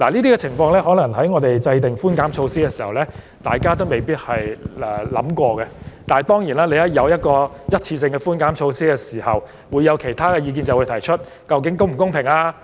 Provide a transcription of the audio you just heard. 這點或許是在我們制訂寬減措施時不曾考慮的，但當然，只要政府推出任何一次性寬減措施，便會有人提出其他意見及質疑是否公平。